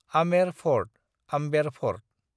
Amer fort (Amber fort)